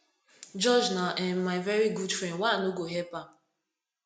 george na um my very good friend why i no go help am